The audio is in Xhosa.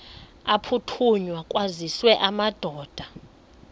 aphuthunywayo kwaziswe amadoda